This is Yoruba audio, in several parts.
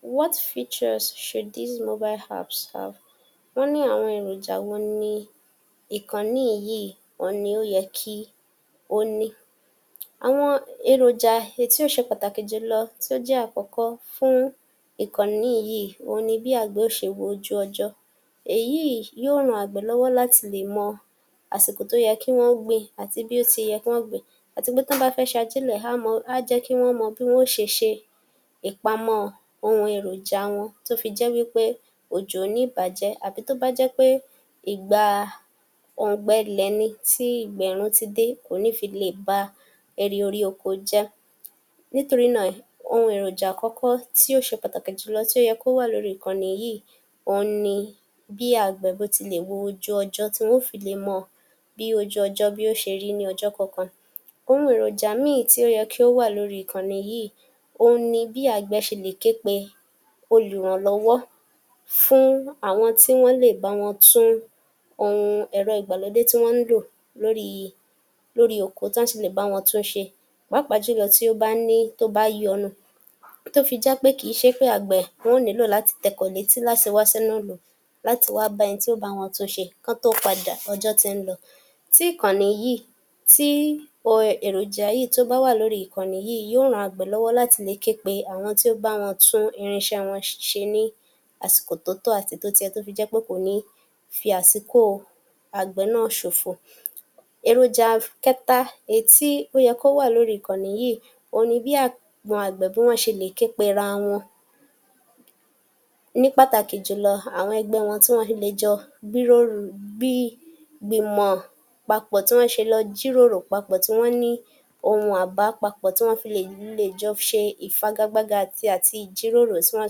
What features should these mobile apps have? wọ́n ní àwọn èròjà wo ní ìkànnì yìí, ohun ní ó yẹ kí ó ní? Àwọn èròjà èyí tí ó ṣe pàtàkì jùlọ tí ó jẹ́ àkọ́kọ́ fún ìkànnì yìí, òhun ni bí àgbẹ̀ ó ṣe wo ojú ọjọ́, èyí yòó ran àgbẹ̀ lọ́wọ́ láti le mọ àsìkò tó yẹ kí wọn o gbin, àti bí ó ti yẹ kí wọn ó gbin àti pé tán bá fẹ́ ṣe ajílẹ̀, á mọ, á jẹ́ kí wọ́n mọ bí wọn ó ṣe ṣe ìpamọ́ ohun èròjà wọn tó fi jẹ́ wípé òjò ò ní í bà á jẹ́, àbí tó bá jẹ́ pé ìgbà oǹg̀bẹlẹ̀, tí ìgbẹ̀rùn ti dé, kò ní fi le ba ẹrì orí oko jẹ́, nítorí náà ohun èròjà àkọ́kọ́ tí ó ṣe pàtàkì jùló tí ó yẹ kó wà lórí ìkànnì yìí, òhun ni bí àgbẹ̀ bó ti lè wo ojú ọjọ́ tí wọn ó fi le mọ bí ojú ọjọ́ bí yóò ṣe rí ní ọjọ́ kọ̀ọ̀kan. Ohun èròjà míì tí ó yẹ kí ó wà lórí ìkànnì yìí, ohun ni bí àgbẹ̀ ṣe lè ké pe olùrànlọ́wọ́ fún àwọn tí wọ́n lè bá wọn tún ohun ẹ̀rọ ìgbàlódé tí wọ́n ń lò lórí lórí oko tán sì lè bá wọn tún un ṣe, pàápàá jùlọ tí ó bá ní, tó bá yọnu, tó fi jẹ́ pé kì í ṣe pé àgbẹ̀ wọn ó nílò láti tẹkọ̀ létí láti wá sínúùlú àti wá bá ẹni tí ó bá wọn tún ṣe, kán tó padà, ọjọ́ ti ń lọ. Tí ìkànnì yìí, tí èròjà yìí tó bá wà lórí ìkànnì yìí, yóò ran àgbẹ̀ lọ́wọ́ láti lè ké pe àwọn tí ó ń bá wọn tún irinṣẹ wọn ṣe ní àsìkò tó tọ́ àti àsìkò tó yẹ tó fi jẹ́ pé kò ní fi àsìkò àgbẹ̀ náà ṣòfò. Èròjà kẹ́ta èyí tí ó yẹ kó wà lórí ìkànì yìí, òhun ni bí àwọn àgbẹ̀, bí wọ́n ṣe lè ké pera wọn, nì pàtàkì jùlọ àwọn ẹgbẹ́ wọn tí wọ́n lè jọ gbíròrò, gbii, gbímọ̀ papọ̀, tí wọn ṣe lọ jíròrò papọ̀, tí wọn ní ohun àbá papọ̀, tí wọn le, lè jọ ṣe ìfagagbága àti àti jíròrò tí wọ́n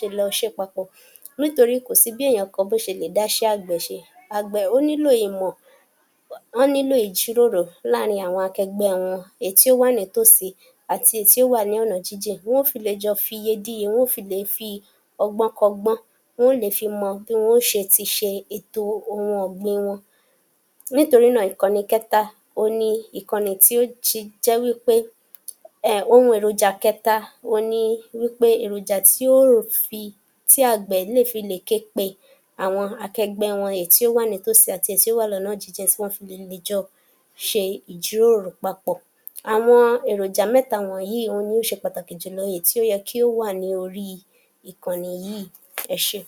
ṣe lè ṣe papọ̀. Nítorí kò sí bí èèyàn bó ṣe lè dá iṣé àgbẹ̀ ṣe, àgbẹ̀ ó nílò ìmọ̀,[um] wọ́n nílò ìjíròrò láàrin àwọn akẹgbẹ́ wọn, èyí tí ó wà nítòsí àti èyí tí ó wà ní ọ̀nà jínjìn, wọn ó fi lè jọ fiye díye, wọn ó fi lè fi ọgbọ́n kọ́gbọ́n wọn ó lè fi mọ bí wọn ó ṣe ti ṣe ètò ohun ọ̀gbin wọn. Nítorí náà, ìkànnì kẹ́ta ni ìkànì tí ó ji jẹ́ wípé um ohun èròjà kẹ́ta òhun ni wípé èròjà tí o ́fi, tí àgbẹ̀ lè fi le ké pe àwọn akegbẹ́ wọn èyí tí ó wà nítòsí àti èyí tí ó wà lọ́nà jínjìn, tí wọ́n fi lè, lè jọ ṣe ìjíròrò papọ̀. Àwọn èròjà méta wọ̀nyí, òhun ni ó ṣe pàtàkì jùlọ́ èyí tí ó yẹ kí ó wà ní orí ìkànnì yìí, ẹ ṣé.